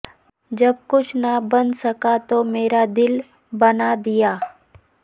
جب کچھ نہ بن سکا تو میرا دل بنا دیا